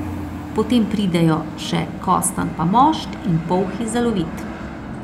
Potem pridejo še kostanj pa mošt in polhi za lovit.